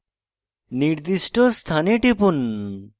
নির্দিষ্ট স্থানে টিপুন